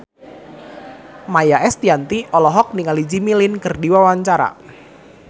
Maia Estianty olohok ningali Jimmy Lin keur diwawancara